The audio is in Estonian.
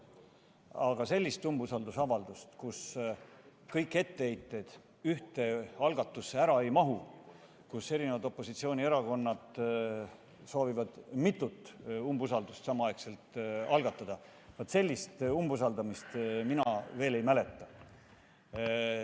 Aga sellist umbusalduse avaldamist, mille korral kõik etteheited ühte algatusse ära ei mahu ja opositsioonierakonnad soovivad algatada mitut umbusaldamist samaaegselt, vaat sellist umbusaldamist mina ei mäleta.